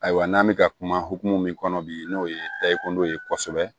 Ayiwa n'an bɛ ka kuma hokumu min kɔnɔ bi n'o ye takuma ye kosɛbɛ